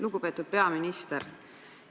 Lugupeetud peaminister!